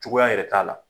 Cogoya yɛrɛ t'a la